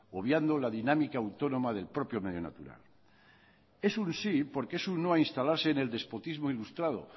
obviando la dinámica autónoma del propio medio natural es un sí porque es un no a instalarse en el despotismo ilustrado